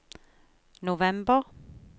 november